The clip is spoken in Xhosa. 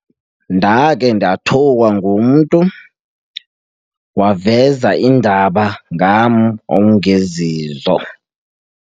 Ndakhe ndathukwa ngumntu, waveza iindaba ngam ongezizo.